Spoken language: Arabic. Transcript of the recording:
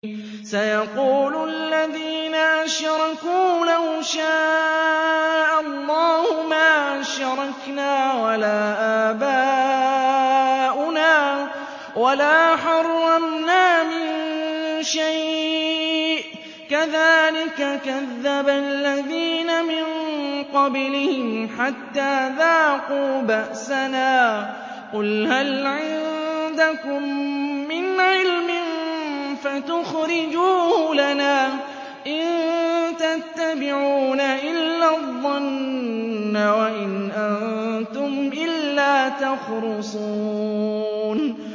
سَيَقُولُ الَّذِينَ أَشْرَكُوا لَوْ شَاءَ اللَّهُ مَا أَشْرَكْنَا وَلَا آبَاؤُنَا وَلَا حَرَّمْنَا مِن شَيْءٍ ۚ كَذَٰلِكَ كَذَّبَ الَّذِينَ مِن قَبْلِهِمْ حَتَّىٰ ذَاقُوا بَأْسَنَا ۗ قُلْ هَلْ عِندَكُم مِّنْ عِلْمٍ فَتُخْرِجُوهُ لَنَا ۖ إِن تَتَّبِعُونَ إِلَّا الظَّنَّ وَإِنْ أَنتُمْ إِلَّا تَخْرُصُونَ